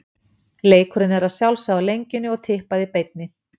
Leikurinn er að sjálfsögðu á Lengjunni og í Tippað í beinni.